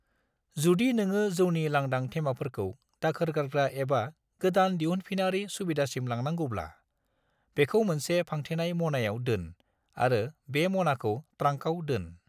जुदि नोङो जौनि लांदां थेमाफोरखौ दाखोर गारग्रा एबा गोदान दिहुनफिनारि सुबिदासिम लांनांगौब्ला, बेखौ मोनसे फांथेनाय मनायाव दोन आरो बे मनाखौ ट्रांकाव दोन।